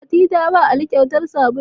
Fati ta bawa ali kyautar sabulu